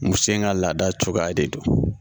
Muso in ka laada cogoya de don